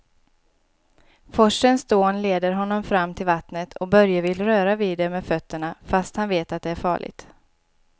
Forsens dån leder honom fram till vattnet och Börje vill röra vid det med fötterna, fast han vet att det är farligt.